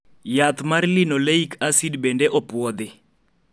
Yath mar Linoleic acid bende opuodhi